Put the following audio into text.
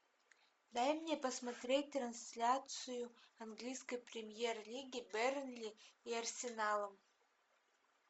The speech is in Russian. дай мне посмотреть трансляцию английской премьер лиги бернли и арсеналом